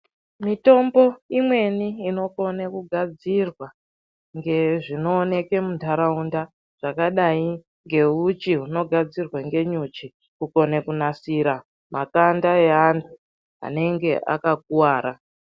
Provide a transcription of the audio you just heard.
Mwitombo imweni inokone kugadzirwa ngezvinooneke muntaraunda zvakadai ngeuchi hunogadzirwe ngenyuchi kukone kunasira matanda eantu anenge akakuwara.